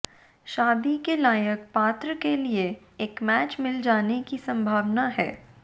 शादी के लायक पात्र के लिए एक मैच मिल जाने की संभावना है